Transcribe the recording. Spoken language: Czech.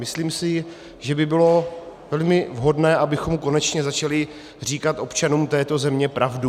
Myslím si, že by bylo velmi vhodné, abychom konečně začali říkat občanům této země pravdu.